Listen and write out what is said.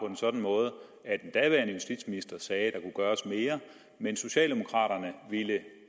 en sådan måde at den daværende justitsminister sagde at gøres mere men socialdemokraterne ville